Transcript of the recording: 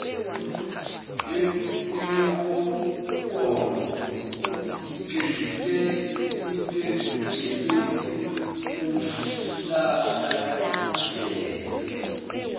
yenqubomgomo iphendukele kumhlahlandlela